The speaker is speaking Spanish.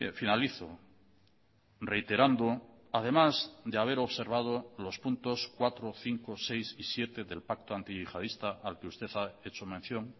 finalizo reiterando además de haber observado los puntos cuatro cinco seis y siete del pacto antiyihadista al que usted ha hecho mención